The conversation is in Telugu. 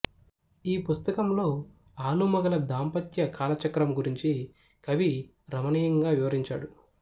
ఈ పుస్తకంలో ఆలుమగల దాంపత్య కాలచక్రం గురించి కవి రమణీయంగా వివరించాడు